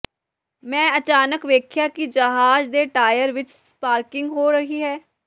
ਮੈਂ ਅਚਾਨਕ ਵੇਖਿਆ ਕਿ ਜਹਾਜ਼ ਦੇ ਟਾਇਰ ਵਿਚ ਸਪਾਰਕਿੰਗ ਹੋ ਰਹੀ ਹੈ